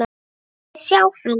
Megum við sjá hann!